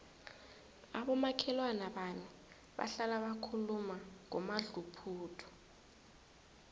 abomakhelwana bami bahlala bakhuluma ngomadluphuthu